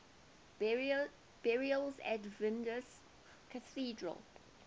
burials at vilnius cathedral